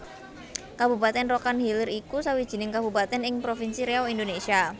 Kabupatèn Rokan Hilir iku sawijining kabupatèn ing Provinsi Riau Indonésia